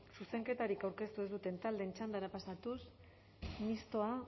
zuzenketarik aurkeztu ez duten taldeen txandara pasatuz mistoa